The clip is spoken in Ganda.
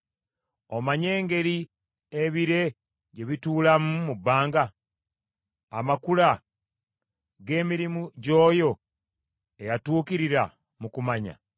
Omanyi engeri ebire gye bituulamu mu bbanga, amakula g’emirimu gy’oyo eyatuukirira mu kumanya?